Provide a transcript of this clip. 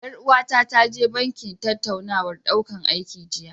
Ƴar uwata ta je banki tattaunawar ɗaukan aiki jiya.